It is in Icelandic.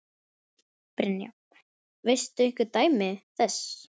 Brynja: Veistu einhver dæmi þess?